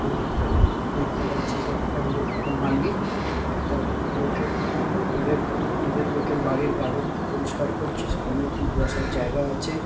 দেখতে দেখতে পারছি যে একটা লো একটা মালি একটা লোকের নিজের নিজের লোকের বাড়ির গার্ডেন পরিষ্কার করছে। সামনে দু বসার জায়গা আছে।